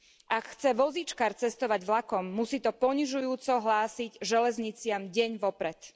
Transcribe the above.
Ak chce vozíčkar cestovať vlakom, musí to ponižujúco hlásiť železniciam deň vopred.